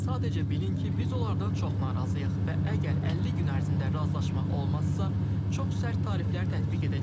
Sadəcə bilin ki, biz onlardan çox narazıyıq və əgər 50 gün ərzində razılaşma olmazsa, çox sərt tariflər tətbiq edəcəyik.